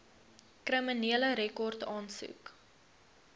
kriminele rekord aansoek